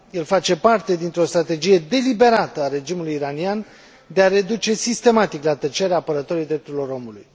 El face parte dintr o strategie deliberată a regimului iranian de a reduce sistematic la tăcere apărătorii drepturilor omului.